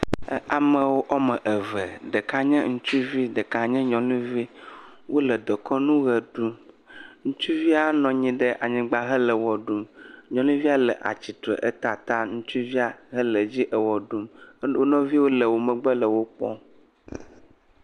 Amewo ɔmeve, ɖeka nye ŋutsuvi, ɖeka nye nyɔnuvi. Wole dekɔnu ɣe ɖum, ŋutsuvia nɔ anyi ɖe anyigba hele wɔ ɖum, nyɔnu via le atitre eta ata ŋutsuvia hele dzi ewɔ ɖum, wo nɔviwo le wo megbe le wo kpɔm.